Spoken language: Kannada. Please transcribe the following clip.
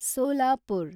ಸೋಲಾಪುರ